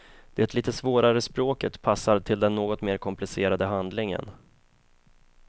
Det lite svårare språket passar till den något mer komplicerade handlingen.